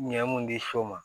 Ɲɛ mun di so ma